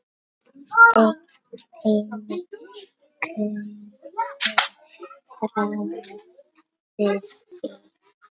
Steini kunni ráð við því.